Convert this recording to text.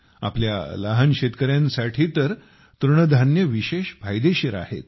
आपल्या लहान शेतकऱ्यांसाठी तर तृणधान्ये विशेष फायदेशीर आहेत